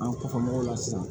An kɔfɛ mɔgɔw la sisan